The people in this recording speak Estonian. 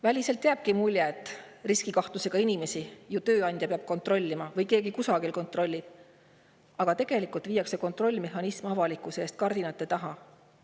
Väliselt jääbki mulje, et riskikahtlusega inimesi peab tööandja kontrollima või et kusagil keegi seda kontrollib, aga tegelikult viiakse kontrollimehhanism avalikkuse eest kardinate taha.